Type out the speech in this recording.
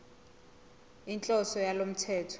inhloso yalo mthetho